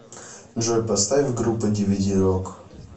джой поставь группа дивиди рок